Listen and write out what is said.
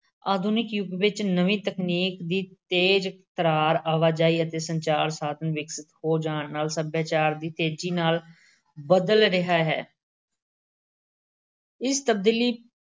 ਆਧੁਨਿਕ ਯੁੱਗ ਵਿੱਚ ਨਵੀਂ ਤਕਨੀਕ ਦੇ ਤੇਜ਼-ਤਰਾਰ ਆਵਾਜਾਈ ਅਤੇ ਸੰਚਾਰ-ਸਾਧਨ ਵਿਕਸਿਤ ਹੋ ਜਾਣ ਨਾਲ ਸੱਭਿਆਚਾਰ ਵੀ ਤੇਜ਼ੀ ਨਾਲ ਬਦਲ ਰਿਹਾ ਹੈ। ਇਸ ਤਬਦੀਲੀ